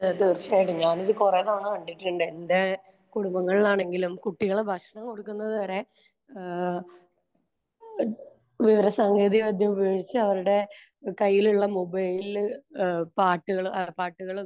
തീർച്ചയായിട്ടും. ഞാൻ ഇത് കൊറേ തവണ കണ്ടിട്ടുണ്ട്. എന്റെ കുടുംബങ്ങളിലാണെങ്കിലും കുട്ടികളെ ഭക്ഷണം കൊടുക്കുന്നത് വരെ ഏഹ് വിവരസാങ്കേതികവിദ്യ ഉപയോഗിച്ച് അവരുടെ കയ്യിലുള്ള മൊബൈലിൽ പാട്ടുകൾ ഏഹ് പാട്ടുകളും